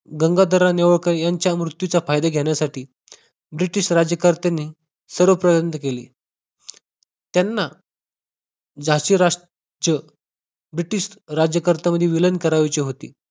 गंगाधरराव नेवळकर यांच्या मृत्यूचा फायदा घेण्यासाठी ब्रिटिश राज्यकर्त्यांनी सर्व प्रयत्न केले. त्यांना झाशी राष्ट्र ब्रिटिश राज्यकर्त्यांमध्ये विलीन करायचे होते.